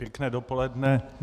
Pěkné dopoledne.